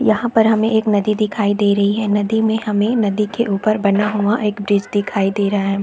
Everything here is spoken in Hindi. यहाँ पर हमें एक नदी दिखाई दे रही है नदी में हमें नदी के ऊपर बना हुआ एक ब्रिज दिखाई दे रहा--